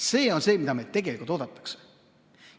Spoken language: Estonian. See on see, mida meilt tegelikult oodatakse.